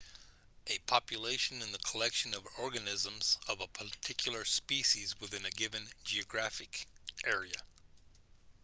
a population is the collection of organisms of a particular species within a given geographic area